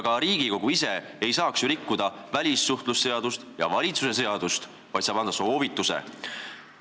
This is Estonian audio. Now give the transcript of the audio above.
Ka Riigikogu ise ei saa rikkuda välissuhtlemisseadust ega valitsuse seadust, ta saab anda soovitusi.